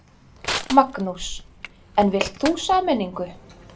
Magnús: En vilt þú sameiningu?